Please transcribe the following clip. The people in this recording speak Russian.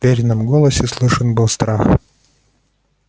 в верином голосе слышен был страх